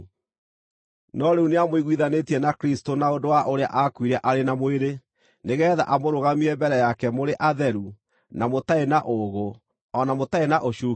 No rĩu nĩamũiguithanĩtie na Kristũ na ũndũ wa ũrĩa aakuire arĩ na mwĩrĩ nĩgeetha amũrũgamie mbere yake mũrĩ atheru, na mũtarĩ na ũũgũ, o na mũtarĩ na ũcuuke,